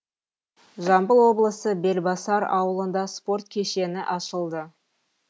жамбыл облысы белбасар ауылында спорт кешені ашылды